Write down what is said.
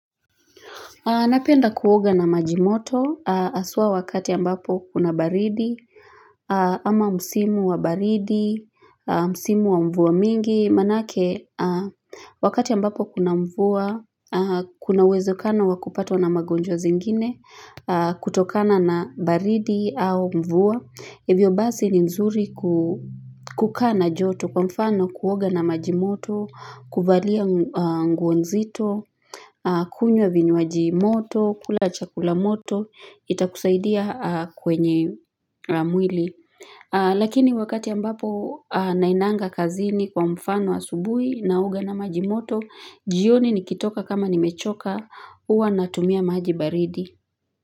Napenda kuoga na majimoto, haswa wakati ambapo kuna baridi, ama msimu wa baridi, msimu wa mvua mingi, manake wakati ambapo kuna mvua, kuna uwezekano wa kupatwa na magonjwa zingine, kutokana na baridi au mvua. Hivyo basi ni nzuri kukaa na joto kwa mfano kuoga na majimoto, kuvalia nguo nzito kunywa vinywaji moto, kula chakula moto, itakusaidia kwenye mwili. Lakini wakati ambapo nainanga kazini kwa mfano wa subui naoga na majimoto, jioni nikitoka kama nimechoka huwa natumia maji baridi.